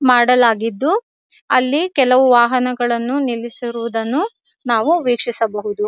ಮಾಡಲಾಗಿದ್ದು ಅಲ್ಲಿ ಕೆಲವು ವಾಹನಗಳನ್ನು ನಿಲ್ಲಿಸಿರುವುದನ್ನು ನಾವು ವೀಕ್ಷಿಸಬಹುದು.